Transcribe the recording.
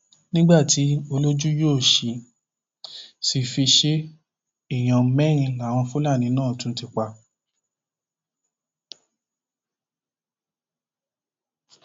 nígbà tí olójú yóò sì sì fi ṣe é èèyàn mẹrin làwọn fúlàní náà ti tún pa